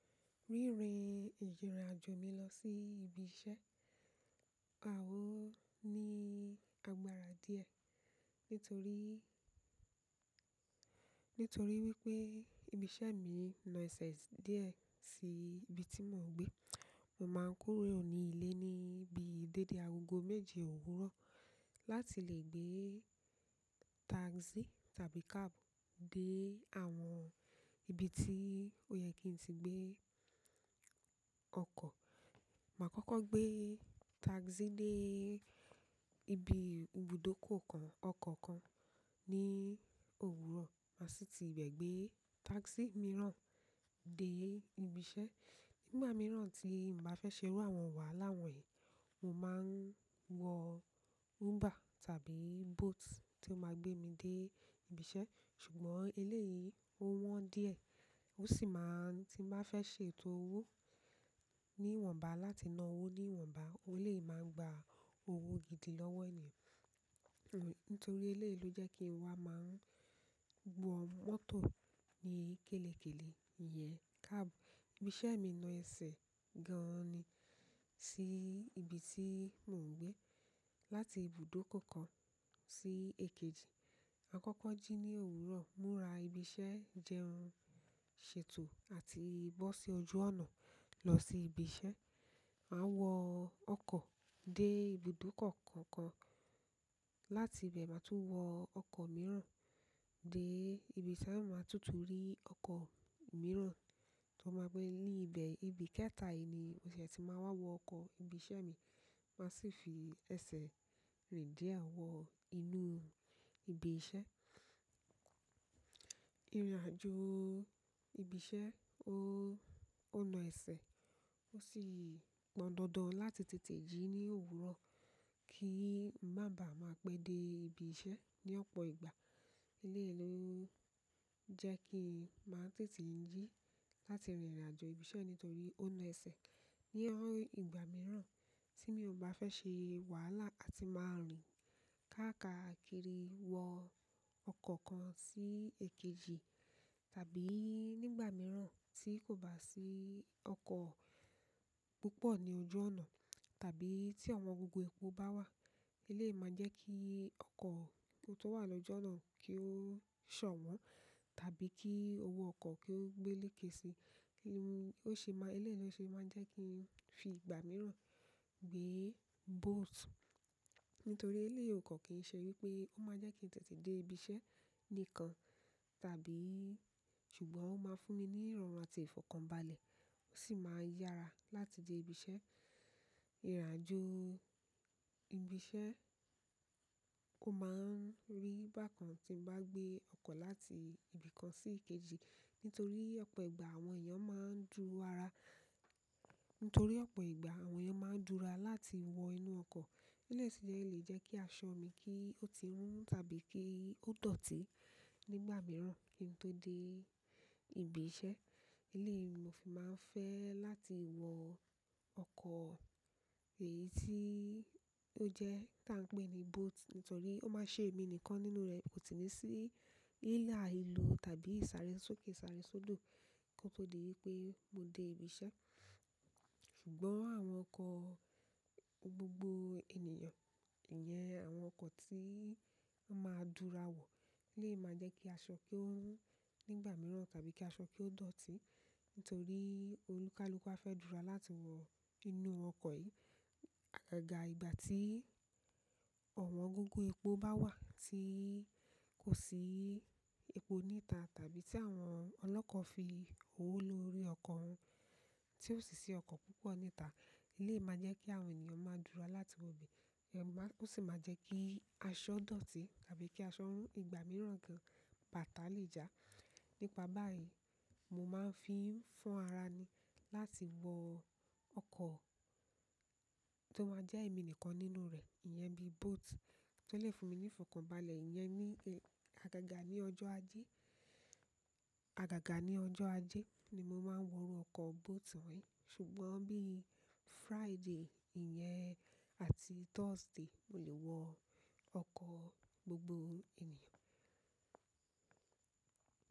Rírin ìrìnàjò mi lọ sí ibi iṣẹ́, ah! Ò ní agbára díẹ̀ nítorí, nítorí wípé ibi iṣẹ́ mi nà ẹsẹ̀ díẹ̀ sí ibi tí mò ń gbé. Mo máa ń kúrò ní ilé ní bíi dédé agogo méje òwúrọ̀ láti lè gbé táxí tàbí cab dé àwọn ibi tí ó yẹ kí n tí gbé ọkọ̀. Màá kókó gbé táxí dé ibi ibùdókọ̀ kan ọkọ̀ kan ní òwúrọ̀, màá sì ti ibẹ̀ gbé táxí mìíràn dé ibi iṣẹ́. Nígbà mìíràn tí n bá fẹ́ ṣe irú àwọn wàhálà wọ̀nyí, mo máa ń wọ Uber tàbí Bolt tí ó máa gbé mi dé ibi iṣẹ́. Ṣùgbọ́n eléyìí ó wọ́n díẹ̀ ó sì máa ń tí bá fẹ́ ṣe ètò owó ní iwọ̀nba láti na owó ní iwọ̀nba, eleyii máa ń gba owó gidi lọ́wọ́ èèyàn. Nítorí eléyìí ló jẹ́ kí n wá máa ń wọ mọ́tò ní kélekèlé, ìyẹn cáàbù. Ibi iṣẹ́ mi nà ẹsẹ̀ gan ni sí ibi tí mò ń gbé. Láti ibùdókọ̀ kan sí èkejì. Àkọ́kọ́ jí ní òwúrọ̀, múra ibi iṣẹ́ jẹun, ṣètò àti bó sí ojú ọ̀nà lọ sí ibi iṣẹ́. Màá wọ ọkọ̀ dé ibùdókọ̀ kọ̀ọ̀kan, láti ibẹ̀ màá tún wọ ọkọ̀ mìíràn dé ibi iṣẹ́, màá tún tún rí ọkọ̀ mìíràn tí ó máa gbé mi ní ibẹ̀. Ibi kẹta yìí ni mo ṣè ti máa n wá wọ ọkọ̀ ibi iṣẹ́ mi, màá sì fi ẹsẹ̀ rìn dé àwọ inú ibi iṣẹ́. Ìrìnàjò ibi iṣẹ́ ó, ó na ẹsẹ̀ ó sì pon dandan láti tètè jí ní òwúrọ̀ kí n má bàá máa pé dé ibi iṣẹ́ ní ọ̀pọ̀ ìgbà. Eléyìí ló jẹ́ kín màá tètè ń jí láti rìnrìnàjò ibi iṣẹ́ nítorí ó na ẹsẹ̀. Ní àwọn ìgbà mìíràn tí mi ò bá fẹ́ ṣe wàhálà àti máa rìn káàkakiri wọ ọkọ̀ kan sí èkejì, tàbí nígbà mìíràn tí kò bá sí ọkọ̀ púpọ̀ ní ojú ọ̀nà tàbí tí òwọn gógó epo bá wà, eléyìí máa jẹ́ kí ọkọ̀ tó wà lọ́jú onáà kí ó sòwọ́n tàbí kí owó ọkọ̀ kí ó gbé léèké síi. Kí ni ó ṣe máa ń, eléyìí ló ṣe máa ń jẹ́ kí n fi ìgbà mìíràn gbé Bolt. Nítorí eléyìí ọ kan kìí ṣe wípé ó máa jẹ́ kí n tètè dé ibi iṣẹ́ nìkan tàbí ṣùgbọ́n ó máa fún mi ní ìrọ̀rùn àti ìfọ̀kànbalẹ̀, ó sì máa yára láti dé ibi iṣẹ́. Ìrìnàjò ibi iṣẹ́ kò máa ń rí bákan tí mo bá gbé ọkọ̀ láti ibi kan sí èkejì nítorí ọ̀pọ̀ ìgbà àwọn èèyàn máa ń dúra, nítorí ọ̀pọ̀ ìgbà àwọn èèyàn máa ń dúra láti wọ inú ọkọ̀. Eléyìí sì jẹ́ lè jẹ́ kí aṣọ mi kí ó ti rún tàbí kí ó dọ̀tí nígbà mìíràn kí n tó dé ibi iṣẹ́. Eléyìí ni mo fi máa ń fẹ́ láti wọ ọkọ̀ èyí tí ó jẹ́ tí à ń pè ní Bolt nítorí ó máa ṣe èmi nìkan nínú rẹ̀, kò sì ní sí hílàhílo tàbí ìsàré sókè, sàré sódò kí ó tó di wípé mo dé ibi iṣẹ́. Ṣùgbọ́n àwọn ọkọ̀ gbogbo ènìyàn, ìyẹn àwọn ọkọ̀ tí a máa ń dúra wọ̀ lè máa jẹ́ kí aṣọ kí ó rún nígbà mìíràn tàbí kí aṣọ kí ó dọ̀tí nítorí olúkalúkú á fẹ́ dúra láti wọ inú ọkọ̀ yìí. Àgagà ìgbà tí òwọn gógó epo bá wà tí kò sí epo níta tàbí tí àwọn ọlọ́kọ̀ fi owó lórí ọkọ̀ wọn tí ó sì sí ọkọ̀ púpọ̀ níta, eléyìí máa jẹ́ kí àwọn ènìyàn máa dúra láti wọ̀ ibè. Ó sì máa jẹ́ kí aṣọ dọ̀tí tàbí kí aṣọ rún ìgbà mìíràn gan bàtà lé já. Nípa báyìí, mo máa ń fi fún ara ni láti wọ ọkọ̀ tó máa jẹ́ èmi nìkan nínú rẹ̀, ìyẹn bí Bolt tó lè fún mi ní ìfọ̀kànbalẹ̀. Ìyẹn ni àgàgà ní ọjọ́ ajé, àgàgà ní ọjọ́ ajé ni mo máa ń wọ ọkọ̀ Bolt wọ̀nyí. Ṣùgbọ́n bí i Friday, ìyẹn àti Thursday, mo lè wọ ọkọ̀ gbogbo ènìyàn.